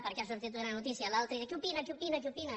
perquè ha sortit una noticia a l’altre i diu què opina què opina què opina